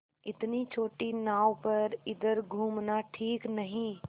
इतनी छोटी नाव पर इधर घूमना ठीक नहीं